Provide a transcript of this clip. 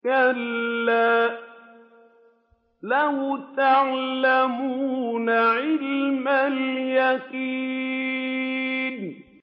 كَلَّا لَوْ تَعْلَمُونَ عِلْمَ الْيَقِينِ